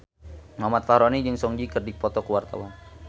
Muhammad Fachroni jeung Song Joong Ki keur dipoto ku wartawan